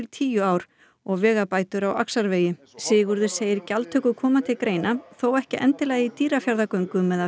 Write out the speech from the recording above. tíu ár og vegabætur á Axarvegi Sigurður segir að gjaldtaka komi til greina þó ekki endilega í Dýrafjarðargöngum eða